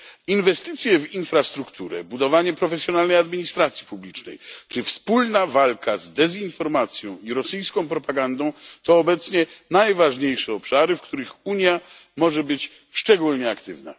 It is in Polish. Inwestycje w infrastrukturę, budowanie profesjonalnej administracji publicznej, czy wspólna walka z dezinformacją i rosyjską propagandą, to obecnie najważniejsze obszary, w których Unia może być szczególnie aktywna.